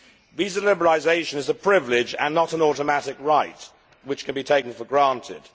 Visa liberalisation is a privilege and not an automatic right which can be taken for granted.